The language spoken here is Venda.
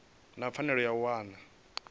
na pfanelo ya u wana